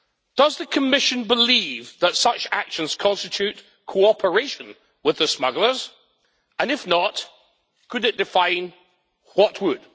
Does the Commission believe that such actions constitute cooperation with the smugglers, and if not, could it define what would?